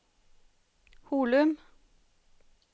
Holum